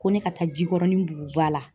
Ko ne ka taa Jikɔrɔni Buguba la.